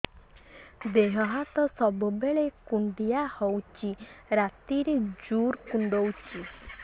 ଦେହ ହାତ ସବୁବେଳେ କୁଣ୍ଡିଆ ହଉଚି ରାତିରେ ଜୁର୍ କୁଣ୍ଡଉଚି